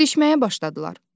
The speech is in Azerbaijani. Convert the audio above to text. Didişməyə başladılar.